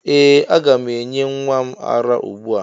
Ee! Aga m enye nwa m ara ugbu a.